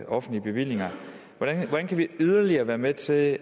offentlige bevillinger hvordan kan vi yderligere være med til at